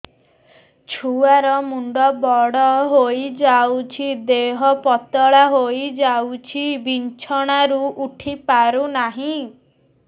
ଛୁଆ ର ମୁଣ୍ଡ ବଡ ହୋଇଯାଉଛି ଦେହ ପତଳା ହୋଇଯାଉଛି ବିଛଣାରୁ ଉଠି ପାରୁନାହିଁ